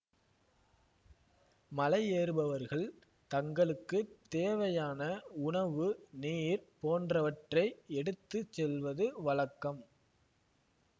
மலையேறுபவர்கள் தங்களுக்கு தேவையான உணவு நீர் போன்றவற்றை எடுத்து செல்வது வழக்கம்